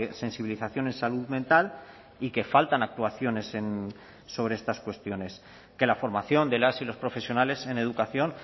sensibilización en salud mental y que faltan actuaciones sobre estas cuestiones que la formación de las y los profesionales en educación